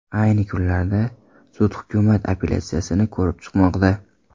Ayni kunlarda sud hukumat apellyatsiyasini ko‘rib chiqmoqda.